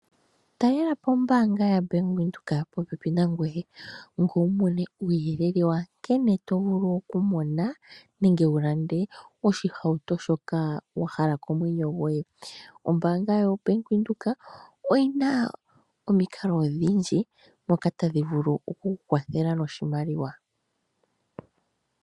Talelapo ombaanga yaBank Windhoek popepi nangweye . Ngweye wumone uuyelele wankene tovulu okumona nenge wulande oshihauto shoka wahala komwenyo gwoye . Ombaanga yoBank Windhoek oyina omikalo odhindji moka tadhi vulu okukukwathela noshimaliwa.